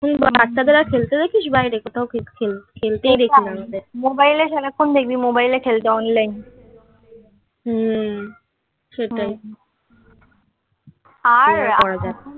হুম বাচ্চাদের আর খেলতে দেখিস বাইরে কোথাও খেলতেই দেখি না mobile সারাক্ষণ দেখবি mobile এ খেলতে online হুম সেটাই আর